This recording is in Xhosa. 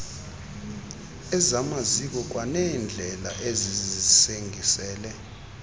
ezamaziko kwaneendlela ezisingisele